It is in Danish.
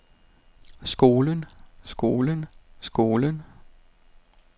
skolen skolen skolen